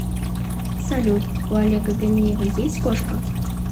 салют у олега ганеева есть кошка